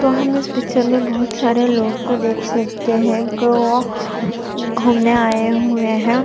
तो हम इस पिक्चर मे बहुत सारे लोग को देख सकते है गोवा घूमने आये हुए है।